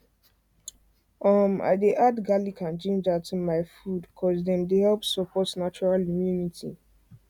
umm i dey add garlic and ginger to my food cause cause dem dey help support natural immunity